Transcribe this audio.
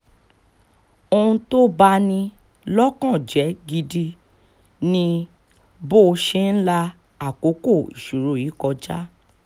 ohun tó bá ní lọ́kàn jẹ́ gidi ni bó ṣe ń la àkókò ìṣòro yìí kọjá